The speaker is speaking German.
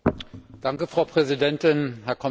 Frau Präsidentin, Herr Kommissar!